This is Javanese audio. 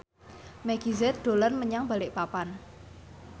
Meggie Z dolan menyang Balikpapan